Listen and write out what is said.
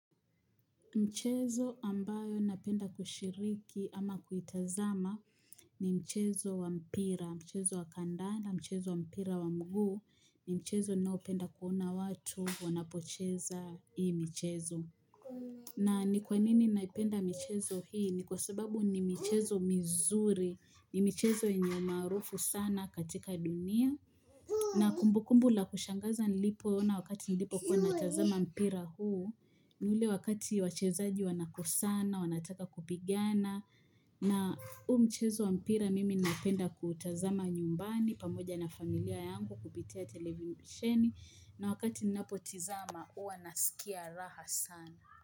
Mchezo ambayo napenda kushiriki ama kuitazama ni mchezo wa mpira, mchezo wa kandanda, mchezo wa mpira wa mguu ni mchezo nao penda kuona watu wanapocheza hii mchezo. Na ni kwa nini naipenda michezo hii ni kwa sababu ni michezo mizuri, ni michezo yenye maarufu sana katika dunia. Na kumbukumbu la kushangaza nilipoona wakati nilipokuwa natazama mpira huu, ni ule wakati wachezaji wanakosana, wanataka kupigana. Na huu mchezo mpira mimi napenda kuutazama nyumbani pamoja na familia yangu kupitia televiisheni na wakati ninapo tazama huwa nasikia raha sana.